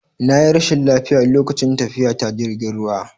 Na yi rashin lafiya lokacin tafiya ta jirgin ruwa